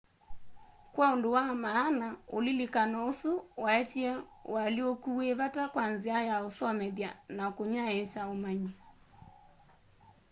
kwa undu wa maana ulilikano usu waetie ũalyũku wi vata kwa nzia ya usomethya na kunyaiikya ũmanyi